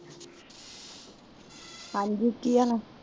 ਹਾਂਜੀ ਕਿ ਹਾਲ